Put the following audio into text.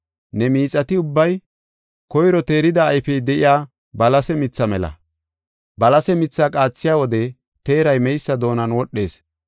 Ne miixati ubbay koyro teerida ayfey de7iya balase mithaa mela. Balase mithaa qaathiya wode teeray meysa doonan wodhees.